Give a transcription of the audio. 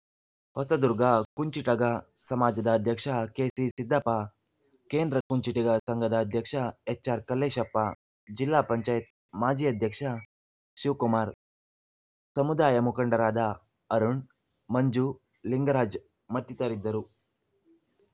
ಹೊಸದುರ್ಗ ಕುಂಚಿಟಗ ಸಮಾಜದ ಅಧ್ಯಕ್ಷ ಕೆಸಿ ಸಿದ್ದಪ್ಪ ಕೇಂದ್ರ ಕುಂಚಿಟಿಗ ಸಂಘದ ಅಧ್ಯಕ್ಷ ಎಚ್‌ಆರ್‌ ಕಲ್ಲೇಶಪ್ಪ ಜಿಲ್ಲಾಪಂಚಾಯತ್ ಮಾಜಿ ಅಧ್ಯಕ್ಷ ಶಿವಕುಮಾರ್‌ ಸಮಾಜದ ಮುಖಂಡರಾದ ಅರುಣ್‌ ಮಂಜು ಲಿಂಗರಾಜ್‌ ಮತ್ತಿತರಿದ್ದರು